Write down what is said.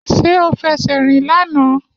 Ṣé o fẹsẹ̀ rìn lánàá